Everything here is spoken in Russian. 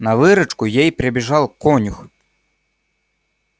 на выручку ей прибежал конюх